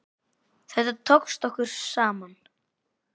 Þetta tókst okkur saman.